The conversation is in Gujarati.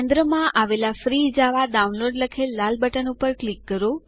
કેન્દ્રમાં આવેલા ફ્રી જાવા ડાઉનલોડ લખેલ લાલ બટન પર ક્લિક કરો